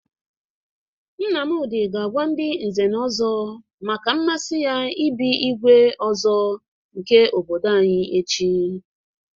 Nnamdị ga-agwa ndị nze na ọzọ maka mmasi ya ị bụ igwe ọzọ obodo anyị echi.